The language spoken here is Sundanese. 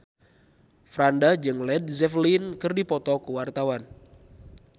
Franda jeung Led Zeppelin keur dipoto ku wartawan